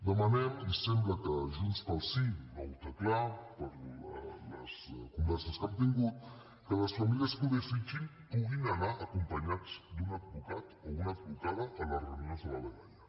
demanem i sembla que junts pel sí no ho té clar per les converses que hem tingut que les famílies que ho desitgin puguin anar acompanyats d’un advocat o una advocada a les reunions de la dgaia